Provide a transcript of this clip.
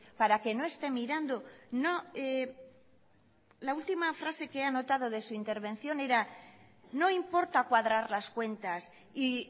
para que no esté mirando la última frase que he anotado de su intervención era no importa cuadrar las cuentas y